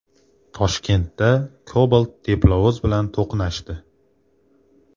Toshkentda Cobalt teplovoz bilan to‘qnashdi.